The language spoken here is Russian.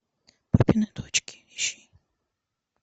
папины дочки ищи